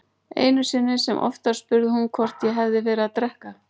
Einu sinni sem oftar spurði hún hvort ég hefði verið að drekka.